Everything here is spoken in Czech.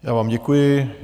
Já vám děkuji.